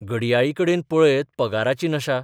घडयाळीकडेन पळयत पगाराची नशा.